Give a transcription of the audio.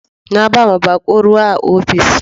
Na bawa bako ruwa a ofis.